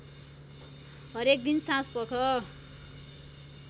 हरेक दिन साँझपख